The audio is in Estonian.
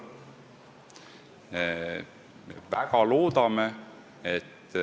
Me väga loodame, et see ei tähenda seda, et selle tulemusena inimeste alkoholi tarvitamine hüppeliselt kasvab.